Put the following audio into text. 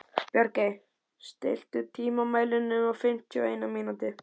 Bjargey, stilltu tímamælinn á fimmtíu og eina mínútur.